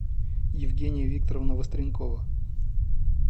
евгения викторовна востренкова